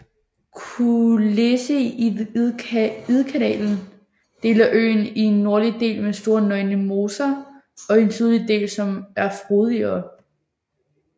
Kulleseidkanalen deler øen i en nordlig del med store nøgne moser og en sydlig del som er frodigere